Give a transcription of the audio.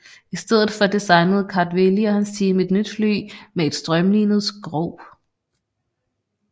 I stedet for designede Kartveli og hans team et nyt fly med et strømlinet skrog